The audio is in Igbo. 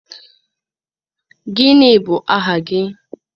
Gịnị bu aha gị?